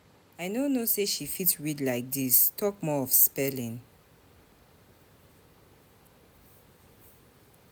I no know say she fit read like dis talk more of spelling